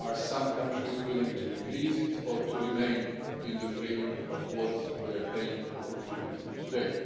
Are some countries willing to increase it or to remain in the framework of what they are paying or contributing today?